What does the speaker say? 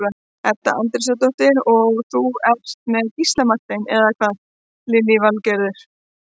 Edda Andrésdóttir: Og þú ert með Gísla Martein, eða hvað Lillý Valgerður?